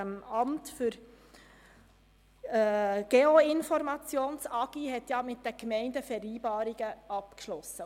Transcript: Das Amt für Geoinformation (AGI) hat mit den Gemeinden Vereinbarungen abgeschlossen.